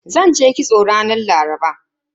Zanje kitso ranar Laraba.